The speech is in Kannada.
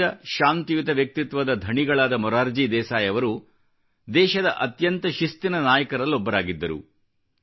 ಸಹಜ ಶಾಂತಿಯುತ ವ್ಯಕ್ತಿತ್ವದ ಧಣಿಗಳಾದ ಮೊರಾರ್ಜಿ ದೇಸಾಯಿ ಅವರು ದೇಶದ ಅತ್ಯಂತ ಶಿಸ್ತಿನ ನಾಯಕರಲ್ಲೊಬ್ಬರಾಗಿದ್ದರು